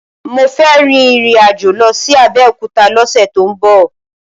Mo fẹ́ rin ìrìn-àjò lọ sí Abẹ́òkúta lọ́sẹ̀ tó ń bọ̀.